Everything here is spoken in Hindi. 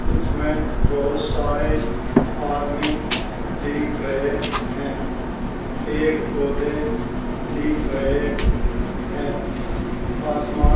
इसमें बोहत सारे आदमी दिख रहे हैं। पेड़ पोधें दिख रहे हैं। आसमान --